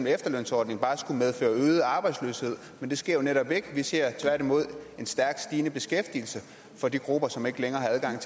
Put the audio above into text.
efterlønsordningen bare skulle medføre øget arbejdsløshed men det sker jo netop ikke vi ser tværtimod en stærkt stigende beskæftigelse for de grupper som ikke længere har adgang